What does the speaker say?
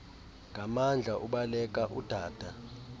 nganmandla ubaleka udada